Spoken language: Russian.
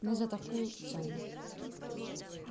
ну за такую цену